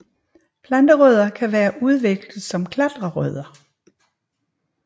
Planterødder kan være udviklet som klatrerødder